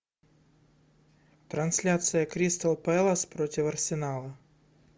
трансляция кристал пэлас против арсенала